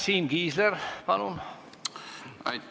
Siim Kiisler, palun!